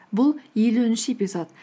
бұл елуінші эпизод